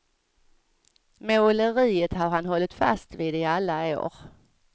Måleriet har han hålligt fast vid i alla år.